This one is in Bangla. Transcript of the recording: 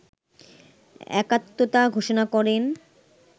একাত্মতা ঘোষণা করেন